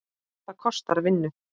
Það kostar vinnu!